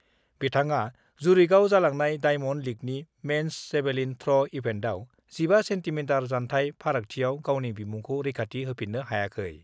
बिथाङा जुरिकआव जालांनाय डाइमन्ड लीगनि मेन्स जेभलिन थ्र' इभेन्टआव 15 सेन्टिमिटार फारागथिआव गावनि बिमुंखौ रैखाथि होफिन्नो हायाखै।